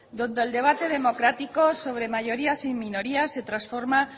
donde el debate democrático sobre mayorías y minorías se transforma